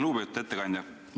Lugupeetud ettekandja!